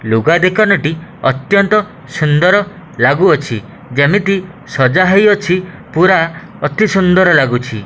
ଲୁଗା ଦୋକାନଟି ଅତ୍ୟନ୍ତ ସୁନ୍ଦର ଲାଗୁଅଛି ଯେମିତି ସଜା ହେଇଅଛି ପୁରା ଅତି ସୁନ୍ଦର ଲାଗୁଛି।